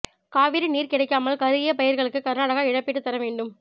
காவிரி நீர் கிடைக்காமல் கருகிய பயிர்களுக்கு கர்நாடகா இழப்பீடு தர வேண்டும்